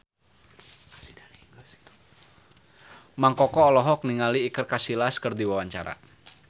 Mang Koko olohok ningali Iker Casillas keur diwawancara